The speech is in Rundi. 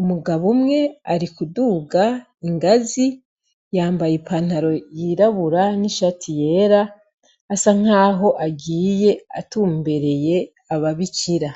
umugabo umwe ari kuduga ingazi yambaye ipantaro yirabura n'ishatu yera asa nk'aho agiye atumbereye ye ababicira.